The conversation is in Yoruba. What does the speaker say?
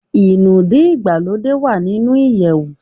Inúdí ìgbàlódé wá nínú iyewu